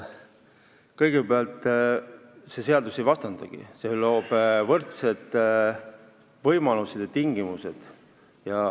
Kõigepealt, see seadus ei vastandagi, see loob võrdsed võimalused ja tingimused.